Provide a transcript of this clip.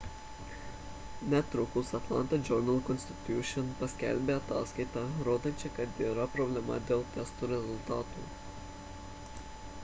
netrukus atlanta journal-constitution paskelbė ataskaitą rodančią kad yra problemų dėl testų rezultatų